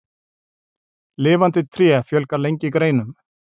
Lifandi tré fjölgar lengi greinum.